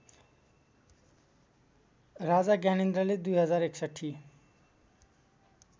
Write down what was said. राजा ज्ञानेन्द्रले २०६१